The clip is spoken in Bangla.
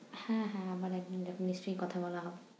হ্যাঁ হ্যাঁ আবার একদিন যাক নিশ্চয়ই কথা বলা হবে।